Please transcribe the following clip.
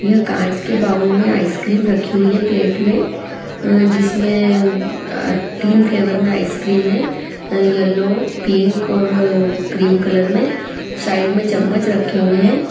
ये कांच के बाउल में आइसक्रीम रखी हुई हैं प्लेट में जिसमे तीन फ्लेवर में आइसक्रीम हैं येलो पिंक और क्रीम कलर में साइड में चम्मच रखे हुए हैं।